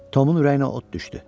Tomun ürəyinə od düşdü.